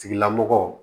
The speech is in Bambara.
Tigilamɔgɔ